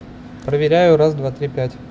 проверяю раз два три пять